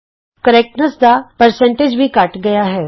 ਸ਼ੁਧਤਾ ਦਾ ਪ੍ਰਤੀਸ਼ਤ ਵੀ ਘੱਟ ਗਇਆ ਹੈ